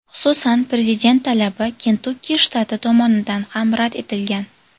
Xususan, prezident talabi Kentukki shtati tomonidan ham rad etilgan.